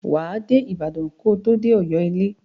Wà á dé Ibàdàn ko tó dé Ọ̀yọ́ ilé.